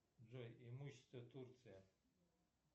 джой имущество турция